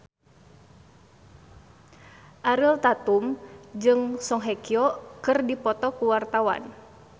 Ariel Tatum jeung Song Hye Kyo keur dipoto ku wartawan